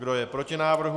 Kdo je proti návrhu?